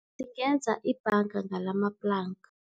Singenza ibhanga ngalamaplanka.